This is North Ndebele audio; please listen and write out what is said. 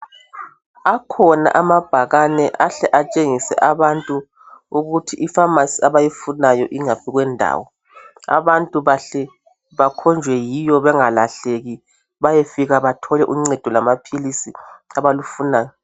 Akhona amabhakane ahle atshengise abantu ukuthi ifamasi abayifunayo ingaphi kwendawo. Abantu bahle bakhonjwe yiyo bengalahlefika bathole uncedo lwamaphilisi abalufunayo.